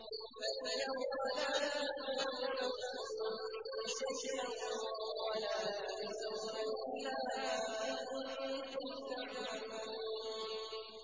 فَالْيَوْمَ لَا تُظْلَمُ نَفْسٌ شَيْئًا وَلَا تُجْزَوْنَ إِلَّا مَا كُنتُمْ تَعْمَلُونَ